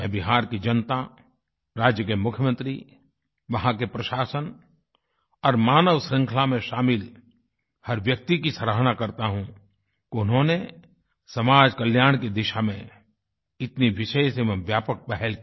मैं बिहार की जनता राज्य के मुख्यमंत्री वहाँ के प्रशासन और मानव श्रृंखला में शामिल हर व्यक्ति की सराहना करता हूँ कि उन्होंने समाज कल्याण की दिशा में इतनी विशेष एवं व्यापक पहल की